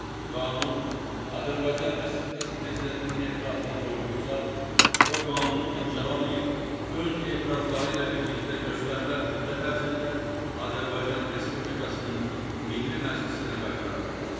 Qanun Azərbaycan Respublikası Prezidentinin etirazını doğurursa, o qanunu imzalamayıb, öz etirazları ilə birlikdə göstərilən müddət ərzində Azərbaycan Respublikasının Milli Məclisinə qaytara bilər.